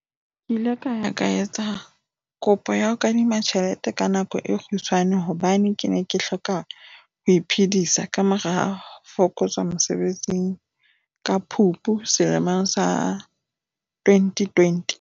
"Ke ile ka ya etsa kopo ya kadimo ya tjhelete ya nako e kgutshwane hobane ke ne ke hloka ho iphedisa ka morao ho fokotswa mosebetsing ka Phupu selemong sa 2020."